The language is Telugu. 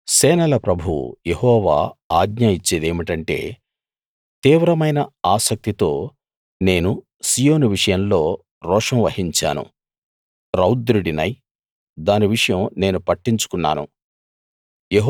సేనల ప్రభువు యెహోవా ఆజ్ఞ ఇచ్చేదేమిటంటే తీవ్రమైన ఆసక్తితో నేను సీయోను విషయంలో రోషం వహించాను రౌద్రుడినై దాని విషయం నేను పట్టించుకున్నాను